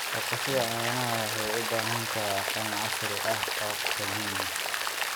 Dhaqashada caanaha waxay u baahan tahay aqoon casri ah oo qadiimi ah.